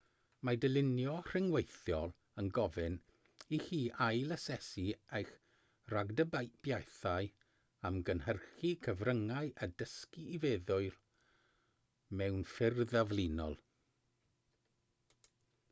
mae dylunio rhyngweithiol yn gofyn i chi ail-asesu eich rhagdybiaethau am gynhyrchu cyfryngau a dysgu i feddwl mewn ffyrdd aflinol